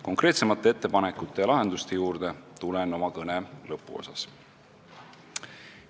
Konkreetsemate ettepanekute ja lahenduste juurde tulen oma kõne lõpuosas.